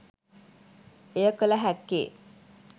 එය කළ හැක්කේ